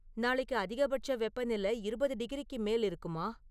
நாளைக்கு அதிகபட்ச வெப்பநெல இருபது டிகிரிக்கு மேல் இருக்குமா?